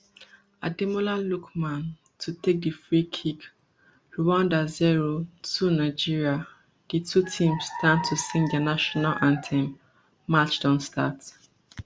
ademola lookman to take di free kick rwanda zero two nigeria di two teams stand to sing dia national anthem match don start